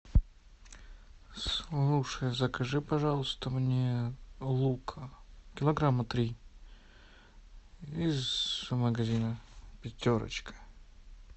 слушай закажи пожалуйста мне лука килограмма три из магазина пятерочка